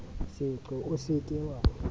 seqo o se ke wa